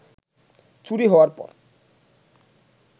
চুরি হওয়ার পর